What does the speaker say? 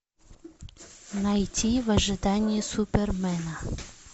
найти в ожидании супермена